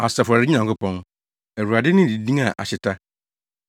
Asafo Awurade Nyankopɔn, Awurade ne ne din a ahyeta!